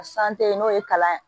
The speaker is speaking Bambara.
San te yen n'o ye kalan ye